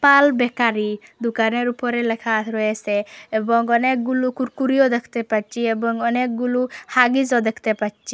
পাল bakery দোকানের উপরে লেখা রয়েসে এবং অনেকগুলু কুরকুরিও দেখতে পাচ্ছি এবং অনেকগুলু হাগিসও দেখতে পাচ্ছি।